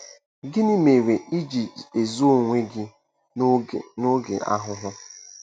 Gịnị mere i ji ezo onwe gị n'oge n'oge ahụhụ? ”